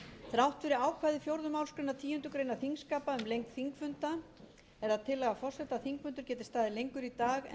þrátt fyrir ákvæði fjórðu málsgreinar tíundu greinar þingskapa um lengd þingfunda er það tillaga forseta að þingfundur geti staðið